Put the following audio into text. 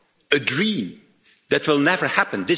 a dream that will never happen.